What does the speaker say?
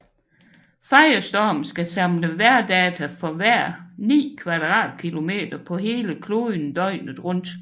Firestorm skal samle vejrdata for hver ni kvadratkilometer på hele kloden døgnet rundt